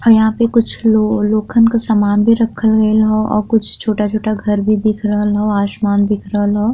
और यहां पे कुछ लो लोखंन के सामान भी रखल गईल ह और कुछ छोटा-छोटा घर भी दिख रहल ह। आसमान दिख रहल ह।